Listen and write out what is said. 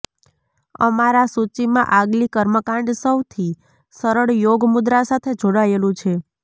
અમારા સૂચિમાં આગલી કર્મકાંડ સૌથી સરળ યોગ મુદ્રા સાથે જોડાયેલું છે